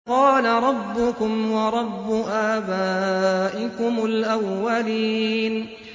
قَالَ رَبُّكُمْ وَرَبُّ آبَائِكُمُ الْأَوَّلِينَ